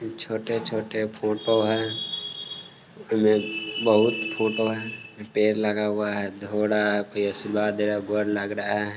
छोटे छोटे फोटो हैं| बोहोत फोटो हैं| पेड लगा हुआ हैं| घोडा (कोई धो रहा है आशीर्वाद दे रहा है गो लग रहा हैं।